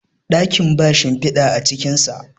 dakin ba shimfida a cikinsa